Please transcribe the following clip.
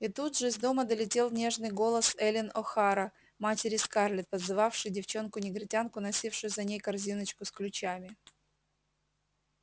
и тут же из дома долетел нежный голос эллин охара матери скарлетт подзывавшей девчонку-негритянку носившую за ней корзиночку с ключами